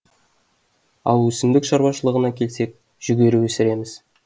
ал өсімдік шаруашылығына келсек жүгері өсіреміз